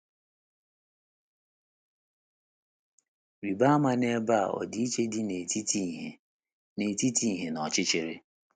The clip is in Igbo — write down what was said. Rịba ama n’ebe a ọdịiche dị n’etiti ìhè na n’etiti ìhè na ọchịchịrị.